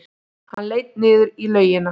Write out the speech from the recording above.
Hann leit niður í laugina.